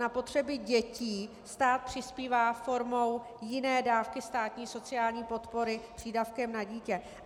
Na potřebu dětí stát přispívá formou jiné dávky státní sociální podpory - přídavkem na dítě.